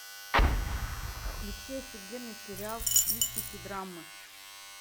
включи офигенный сериал в стилистике драмы